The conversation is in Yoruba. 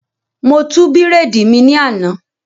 Mo tú bírèèdì mi ní àná